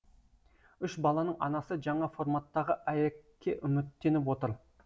үш баланың анасы жаңа форматтағы аәк ке үміттеніп отыр